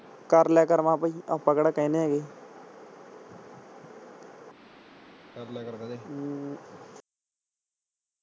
ਕਰ ਲਿਆ ਕਰ ਭਾਈ ਮੈਂ ਭਾਈ ਆਪਾ ਕਿਹੜਾ ਕਹਿਨੇ ਆ ਗੇ